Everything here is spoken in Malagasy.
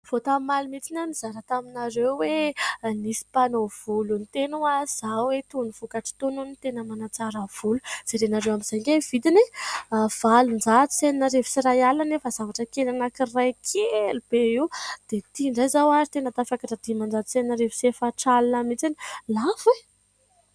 Vao tamin'ny omaly mihitsiny izaho nizara taminareo hoe : nisy mpanao volo niteny hoa izaho hoe : itony vokatra itony hono tena manatsara volo. Jerenareo amin'izay ange ny vidiny e ! valon-jato sy enina arivo sy iray alina, nefa zavatra kely anankiray, kely be io ; dia ity indray izao ary tena tafakatra diman-jato sy enina arivo sy efatra alina mihitsiny; lafo e ?